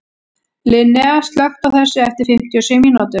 Linnea, slökktu á þessu eftir fimmtíu og sjö mínútur.